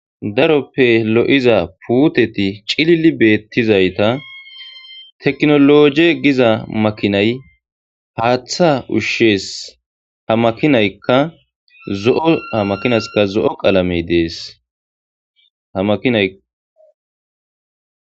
daroppe lo7iza puuteti cilili beettizayta teknoloje giza makinay haaththa ushshees hamakinaykka zo7o hamakinaskka zo7o qalamey dees hamainay